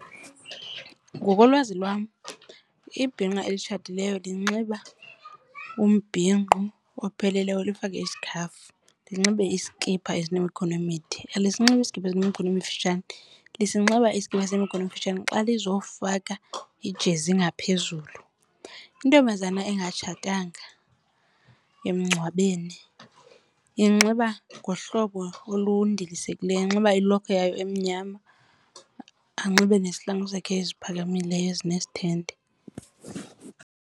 Ngokolwazi lwam ibhinqa elitshatileyo linxiba umbhinqo opheleleyo lifake isikhafu, linxibe iskipa esinemikhono emide, alisinxibe iskipa esinemikhono emifitshane, linxiba iskipa esinemikhono emifitshane xa luzofaka ijezi ngaphezulu. Intombazana engatshatanga emngcwabeni inxiba ngohlobo olundilisekileyo. Inxiba ilokhwe yayo emnyama, anxibe nesihlangu sakhe eziphakamileyo ezinesithande.